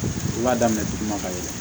I b'a daminɛ duguma ka yɛlɛn